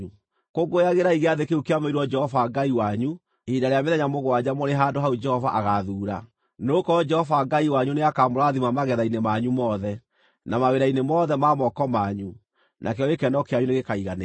Kũngũyagĩrai Gĩathĩ kĩu kĩamũrĩirwo Jehova Ngai wanyu ihinda rĩa mĩthenya mũgwanja mũrĩ handũ hau Jehova agaathuura. Nĩgũkorwo Jehova Ngai wanyu nĩakamũrathima magetha-inĩ manyu mothe, na mawĩra-inĩ mothe ma moko manyu, nakĩo gĩkeno kĩanyu nĩgĩkaiganĩra.